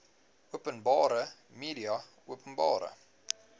openbare media openbare